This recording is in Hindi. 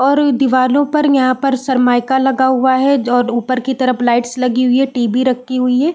और दीवालों पर यहाँ पर सरमाइका लगा हुआ हैं और ऊपर की तरफ लाइट्स लगी हुई हैं टीवी रखी हुई हैं।